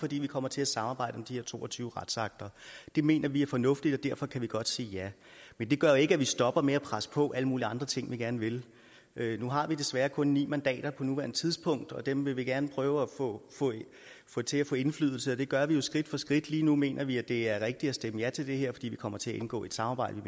fordi vi kommer til at samarbejde om de her to og tyve retsakter det mener vi er fornuftigt og derfor kan vi godt sige ja men det gør ikke at vi stopper med at presse på med alle mulige andre ting vi gerne vil nu har vi desværre kun ni mandater på nuværende tidspunkt og dem vil vi gerne prøve på at få til at få indflydelse og det gør vi skridt for skridt lige nu mener vi det er rigtigt at stemme ja til det her fordi vi kommer til at indgå i et samarbejde